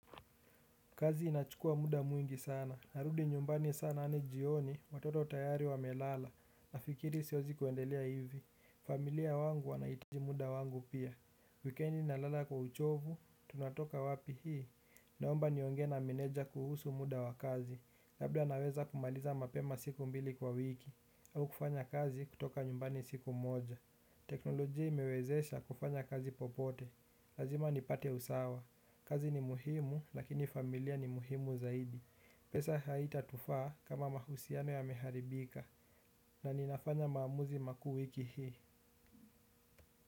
Kazi inachukua muda mwingi sana, narudi nyumbani sana hadi jioni, watoto tayari wamelala, nafikiri siwezi kuendelea hivi. Familia wangu wanahitaji muda wangu pia. Wikendi nalala kwa uchovu, tunatoka wapi hii, naomba niongee na meneja kuhusu muda wa kazi. Labda naweza kumaliza mapema siku mbili kwa wiki, au kufanya kazi kutoka nyumbani siku moja. Teknolojia imewezesha kufanya kazi popote, lazima nipate usawa. Kazi ni muhimu lakini familia ni muhimu zaidi. Pesa haitatufaa kama mahusiano yameharibika na ninafanya maamuzi makuu wiki hii.